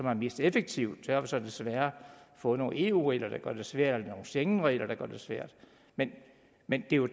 er mest effektiv så har vi så desværre fået nogle eu regler der gør det sværere og nogle schengenregler der gør det svært men men